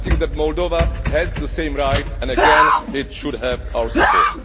I think that Moldova has the same right and again it should have our support.